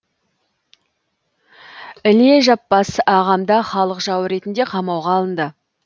іле жаппас ағам да халық жауы ретінде қамауға алынды